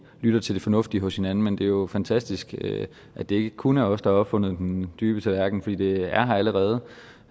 lytter til det fornuftige hos hinanden men det er jo fantastisk at det ikke kun er os der har opfundet den dybe tallerken i det allerede